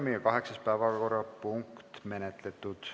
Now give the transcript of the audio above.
Kaheksas päevakorrapunkt on menetletud.